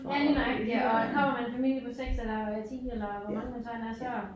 Ja lige nøjagtigt ja og kommer man en familie på 6 eller 10 eller hvor mange man så end er så